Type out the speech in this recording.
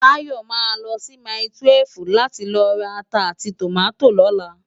Tayo má lò si máitúèf láti lò rá àtá áti tómàtó lòlá